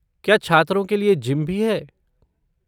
क्या छात्रों के लिए जिम भी है।